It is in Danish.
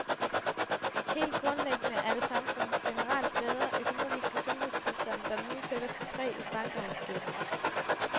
Helt grundlæggende er det samfundets generelt bedre, økonomiske sundhedstilstand, der nu sætter sit præg i bankregnskaberne.